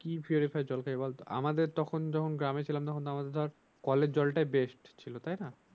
কি জল খাই বল তো আমাদের তখন যখন গ্রামে ছিলাম তখন আমাদের কলের জলটাই বেস্ট ছিলো তাই না?